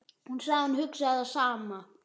Ég sá að hún hugsaði það sama.